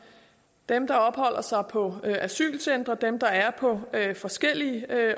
dem der opholder sig på asylcentre dem der er på forskellige